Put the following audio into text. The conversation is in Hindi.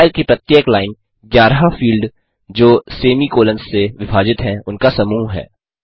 फाइल की प्रत्येक लाइन 11 फील्ड जो सेमी कोलंस से विभाजित हैं उनका समूह है